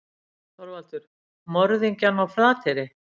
ÞORVALDUR: Morðingjann á Flateyri.